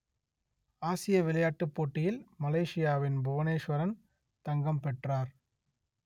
ஆசிய விளையாட்டுப் போட்டியில் மலேசியாவின் புவனேசுவரன் தங்கம் பெற்றார்